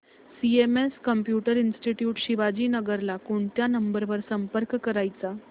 CMS computer institute Shivajinagar ला कोणत्या number वर संपर्क करायचा